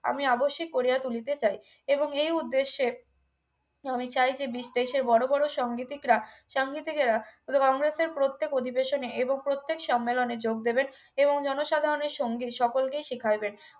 আমি আবশ্যিক করিয়া তুলিতে চাই এবং এই উদ্দেশ্যে আমি চাই যে বিদেশে বড় বড় সাংগীতিকরা সঙ্গীতিকেরা সুতরাং কংগ্রেসের প্রত্যেক অধিবেশনে এবং প্রত্যেক সম্মেলনে যোগ দেবে এবং জনসাধারণের সঙ্গে সকলকেই শিখাইবে